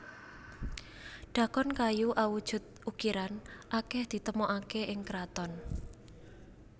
Dhakon kayu awujud ukiran akeh ditemokake ing kraton